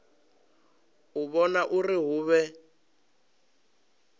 u vhona uri hu vhe